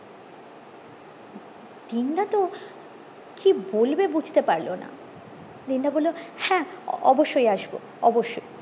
দিন দা তো কি বলবে বুঝতে পারলো না দিন দা বললো হ্যাঁ অবশই আসবো অবশই